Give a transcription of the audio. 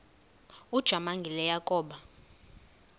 ujamangi le yakoba